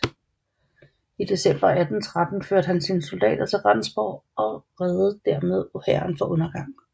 I december 1813 førte han sine soldater til Rendsborg og reddede dermed hæren fra undergang